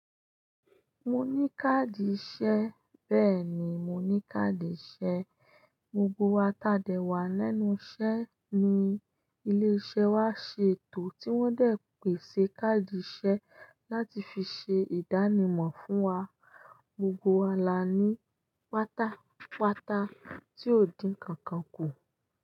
Mo ní káàdì iṣẹ́, bẹ́ẹ̀ni mo ní káàdì iṣẹ́. Gbogbo wa tàde wá lẹ́nu iṣẹ́ ní ilé-iṣẹ́ wa ṣètò tí wọ́n dẹ̀ pèsè káàdì iṣẹ́ láti fi ṣe ìdánimọ̀ fún wa. Gbogbo wa la ní páta páta tí ò dín ǹkan kan kù.